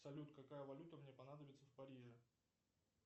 салют какая валюта мне понадобится в париже